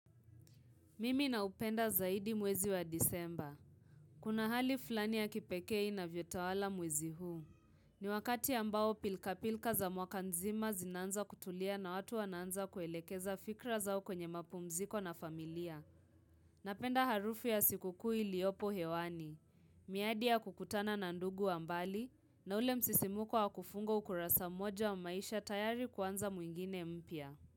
Mimi na upenda zaidi mwezi wa disemba. Kuna hali flani ya kipekee inavyotawala mwezi huu. Ni wakati ambao pilka pilka za mwaka nzima zinaanza kutulia na watu wanaanza kuelekeza fikra zao kwenye mapumziko na familia. Napenda harufu ya sikukuu iliopo hewani. Miadi ya kukutana na ndugu wa mbali na ule msisimuko wa kufunga ukurasa mmoja wa maisha tayari kuanza mwingine mpia.